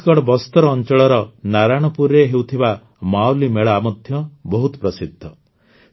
ଛତିଶଗଡ଼ ବସ୍ତର ଅଂଚଳର ନାରାୟଣପୁରରେ ହେଉଥିବା ମାୱଲି ମେଳା ମଧ୍ୟ ବହୁତ ପ୍ରସିଦ୍ଧ